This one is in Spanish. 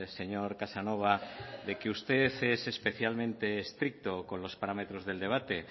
señor casanova de que usted es especialmente estricto con los parámetros del debate